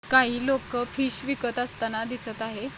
काही लोक फिश विकत असताना दिसत आहे.